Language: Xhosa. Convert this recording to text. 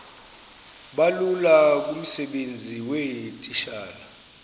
bulula kumsebenzi weetitshala